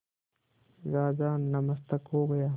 राजा नतमस्तक हो गया